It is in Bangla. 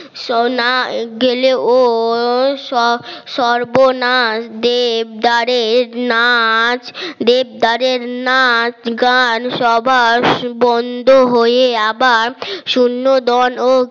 সোনা গেলেও সর্বনাশ দেবদারের নাচ দেবদারের নাচ গান সবার বন্ধ হয়ে আবার